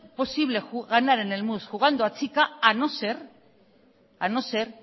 posible ganar en el mus jugando a chica a no ser a no ser